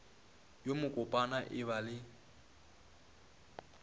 yo mokopana e ba le